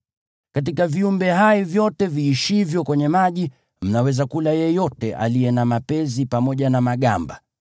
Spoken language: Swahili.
Katika viumbe hai vyote viishivyo kwenye maji, mnaweza kula yeyote aliye na mapezi na magamba.